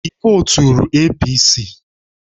Ị voturu APC: